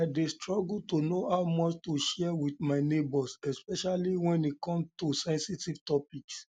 i um dey struggle to know how much to share with my neighbors especially when it come to sensitive topics